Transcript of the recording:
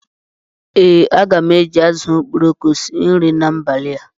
Ee, aga m eji azụ̀ okporoko sie nri n'abalị a